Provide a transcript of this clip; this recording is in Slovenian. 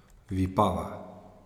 Vipava.